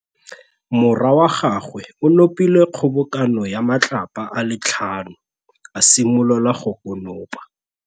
Morwa wa gagwe o nopile kgobokanô ya matlapa a le tlhano, a simolola go konopa.